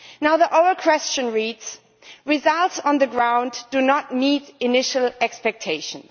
The oral question reads results on the ground do not meet initial expectations'.